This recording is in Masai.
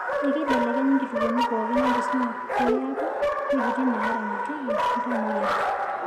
Ekeibelekenyi nkituoni pookin enkisuma peeku wuejitin naaramatieki iltamoyiak.